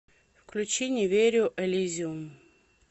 включи не верю элизиум